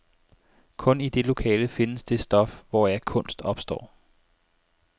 Kun i det lokale findes det stof, hvoraf kunst opstår.